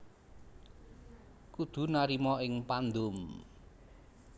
Kudu narima ing pandum